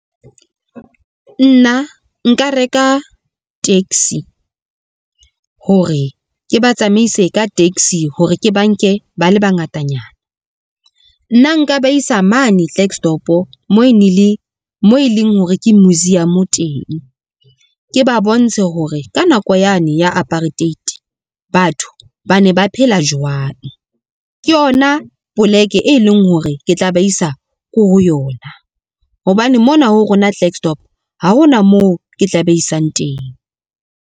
Nna, nka reka taxi hore ke ba tsamaise ka taxi hore ke ba nke ba le bangatanyana. Nna nka ba isa mane Klerksdorp mo e leng hore ke museum teng, ke ba bontshe hore ka nako yane ya apartheid batho ba ne ba phela jwang. Ke yona poleke e leng hore ke tla ba isa ko ho yona, hobane mona ho rona Klerksdorp ha hona moo ke tla ba isang teng.